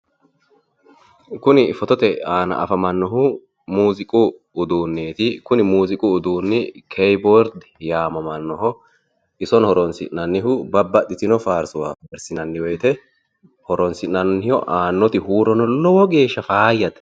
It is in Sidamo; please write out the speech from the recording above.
Kuni fotote aana afamannohu mooziqu uduunneeti. Kuni muziiqu uduunni keyboard yaamamannoho isono horoni'nannihu babbaxino faarso farsi'nanni woyite horonsi'nannoho. Aannoti huurino lowo geeshsha fayyate.